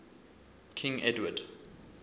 king edward